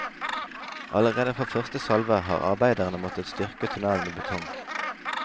Allerede fra første salve har arbeiderne måttet styrke tunnelen med betong.